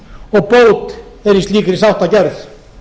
og bót er í slíkri sáttargerð